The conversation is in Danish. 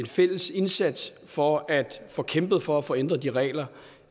fælles indsats for at få kæmpet for at få ændret de regler